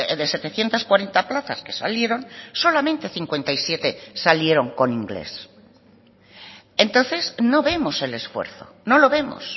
de setecientos cuarenta plazas que salieron solamente cincuenta y siete salieron con inglés entonces no vemos el esfuerzo no lo vemos